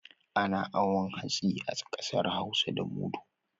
Ana awon hatsi a ƙasar hausa da mudu.